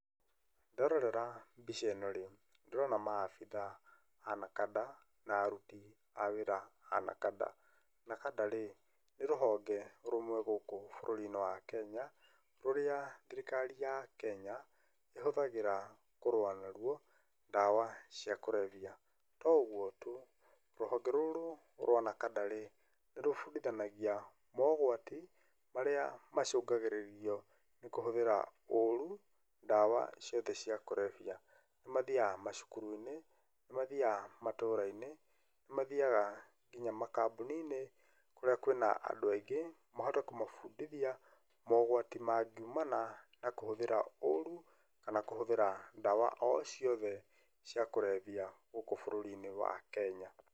Nderorera mbica ĩno rĩ, ndĩrona ma abithaa a Nakada na aruti a wĩra a Nakada. Nakada rĩ, nĩ rũhonge rũmwe gũkũ bũrũri-inĩ wa Kenya, rũrĩa thirikari ya Kenya, ihũthagĩra kũrũa na ruo, ndawa cia kũrebia. To ũguo tu, ruhonge rũrũ rwa Nakada rĩ, nĩrũbundithanagia mogwati marĩa macũngagĩrĩrio nĩ kũhũthĩra ũũru, ndawa ciothe cia kũrebia. Mathiaga macuku-inĩ, nĩmathiaga matũũra-inĩ, nĩmathiaga nginya makambuni-inĩ, kũrĩa kwina andũ aingĩ, mahote kũmabundithia mogwati mangiumana na kũhũthĩra ũru kana kũhũthĩra ndawa o ciothe cia kũrebia gũkũ bũrũri-inĩ wa Kenya.